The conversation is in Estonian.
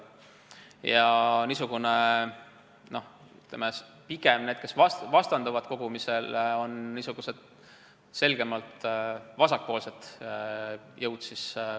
Ja need, kes vastanduvad kogumisele, on selgelt vasakpoolsed jõud.